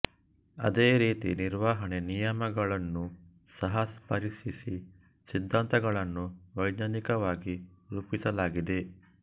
ಅದೇ ರೀತಿ ನಿರ್ವಹಣಾ ನಿಯಮಗಳುನ್ನು ಸಹ ಪರೀಕ್ಷಿಸಿ ಸಿದ್ಥಾಂತಗಳನ್ನು ವೈಜ್ಞಾನಿಕವಾಗಿ ರೂಪಿಸಲಾಗಿದೆ